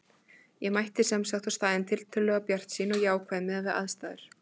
Ég mætti sem sagt á staðinn tiltölulega bjartsýn og jákvæð miðað við aðstæður.